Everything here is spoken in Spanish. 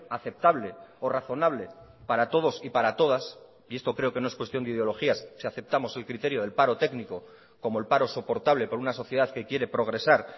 aceptable o razonable para todos y para todas y esto creo que no es cuestión de ideologías si aceptamos el criterio del paro técnico como el paro soportable por una sociedad que quiere progresar